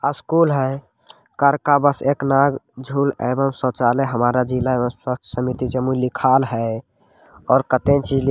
School हे का बस एक एवं शोचलय हमारा जिला एवं स्वस्त समिति जमुई लिखाइल है। और कतई जिले --